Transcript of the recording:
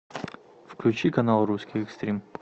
включи канал русский экстрим